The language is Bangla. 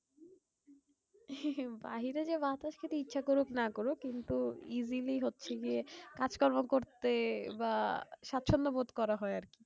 বাইরে যে বাতাস খেতে ইচ্ছা করুক না করুক কিন্তু easily হচ্ছে গিয়ে কাজ কর্ম করতে বা স্বাচ্ছন্দ বোধ করা হয় আর কি।